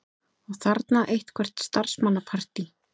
Og þarna eitthvert starfsmannapartí.